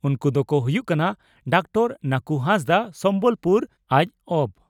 ᱩᱱᱠᱩ ᱫᱚᱠᱚ ᱦᱩᱭᱩᱜ ᱠᱟᱱᱟ ᱺᱼ ᱰᱚᱠᱴᱚᱨ ᱱᱟᱹᱠᱩ ᱦᱟᱸᱥᱫᱟᱜ (ᱥᱚᱢᱵᱚᱞᱯᱩᱨ ᱡᱹᱵᱹ